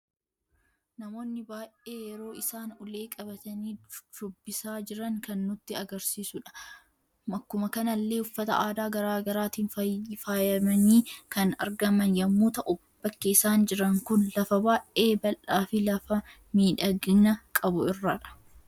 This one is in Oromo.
Namoonni baay'een yeroo isaan ulee qabatani shubbisa jiran kan nutti agarsiisanidha. Akkuma kanallee uffata aadaa garaagaraatin faayamani kan argaman yemmu ta'u bakki isaan jiran kun lafa baay'ee baldhaa fi lafaa miidhagina qabu irradha.